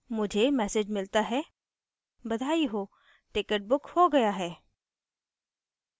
मुझे message मिलता है बधाई हो! ticket booked हो गया है